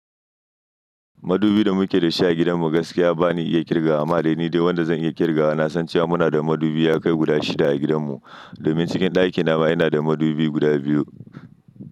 Madubi da muke da shi a gidanmu gaskiya ba ni iya kirgawa, amma dai ni dai wanda zan iya kirgawa. Na san cewa muna da madubi ya kai guda shida a gidanmu. Domin cikin ɗakin nawa ina da madubi guda biyu.